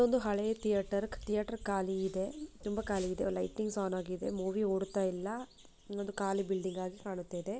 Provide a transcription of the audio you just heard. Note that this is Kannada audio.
ಒಂದು ಹಳೆಯ ಥಿಯೇಟರ್ ಥಿಯೇಟರ್ ಖಾಲಿ ಇದೆ ಲೈಟಿಂಗ್ ಆನ್ ಆಗಿದೆ ಮೂವಿ ಓಡ್ತಾ ಇಲ್ಲ ಒಂದು ಕಾಲಿ ಬಿಲ್ಡಿಂಗ್ ಆಗಿ ಕಾಣ್ತಾ ಇದೆ.